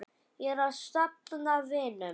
Ég er að safna vinum.